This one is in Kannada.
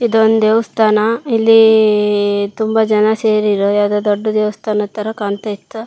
ಇದೊಂದು ದೇವಸ್ಥಾನ. ಇಲ್ಲಿ ತುಂಬಾ ಜನ ಸೇರಿರೋ. ಯಾವ್ದೋ ದೊಡ್ಡ ದೇವಸ್ಥಾನ ತರ ಕಾಣತ್ತಾ ಇತ್ತು.